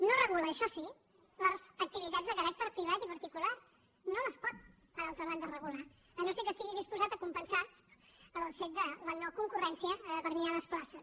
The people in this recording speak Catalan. no regula això sí les activitats de caràcter privat i particular no les pot per altra banda regular si no és que estigui disposat a compensar el fet de la no concurrència a determinades places